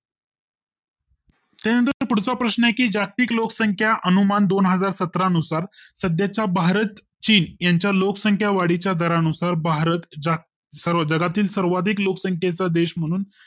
End पुढचा प्रश्न आहे की जागतिक लोकसंख्या अनुमान दोन हजार सतरा नुसार सध्याच्या भारत चीन यांच्या लोकसंख्यावाढी च्या दरा नुसार भारत सर्व जगातील सर्वाधिक लोकसंख्येचा देश म्हणून